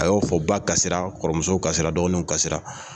A y'o fɔ , ba kasira kɔrɔmusow kasira dɔgɔninw kasira